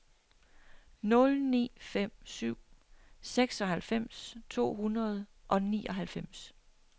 nul ni fem syv seksoghalvfems to hundrede og nioghalvfems